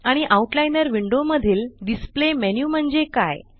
आणि outliner window मधील display menu म्हणजे काय